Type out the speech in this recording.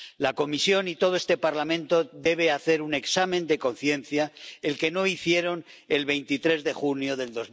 La Comisión y todo este Parlamento deben hacer un examen de conciencia, el que no hicieron el 23 de junio de